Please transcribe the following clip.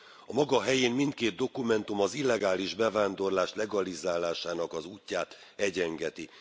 A maga helyén mindkét dokumentum az illegális bevándorlás legalizálásának az útját egyengeti.